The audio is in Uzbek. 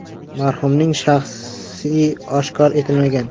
Marhumning shaxsi oshkor etilmagan.